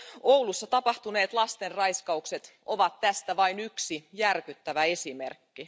Oulussa tapahtuneet lastenraiskaukset ovat tästä vain yksi järkyttävä esimerkki.